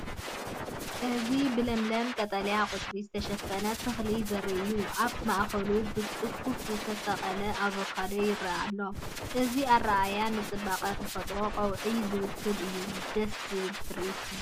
እዚ ብለምለም ቀጠልያ ቆጽሊ ዝተሸፈነ ተክሊ ዘርኢ እዩ።፡ ኣብ ማእከሉ ብጽፉፍ ዝተሰቕለ ኣቮካዶ ይረአ ኣሎ። እዚ ኣረኣእያ ንጽባቐ ተፈጥሮን ቀውዒን ዝውክል እዩ ደስ ዝብል ትርኢት እዩ።